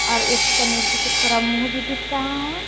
और एक गणेश जी के थोरा मुंह भी दिख रहा है।